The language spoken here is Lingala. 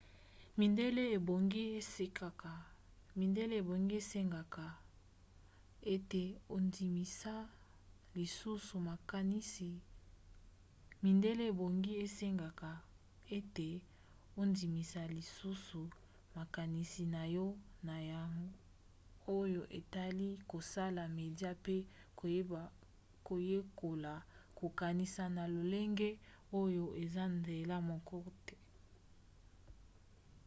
midele ebongi esengeka ete ondimisa lisusu makanisi na yo na oyo etali kosala media mpe koyekola kokanisa na lolenge oyo eza nzela moko te